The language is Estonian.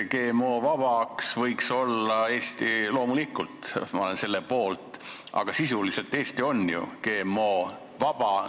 GMO-vaba võiks Eesti loomulikult olla, ma olen selle poolt, aga sisuliselt Eesti on ju GMO-vaba.